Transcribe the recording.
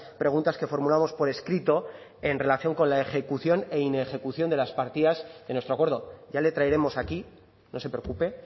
preguntas que formulamos por escrito en relación con la ejecución e inejecución de las partidas en nuestro acuerdo ya le traeremos aquí no se preocupe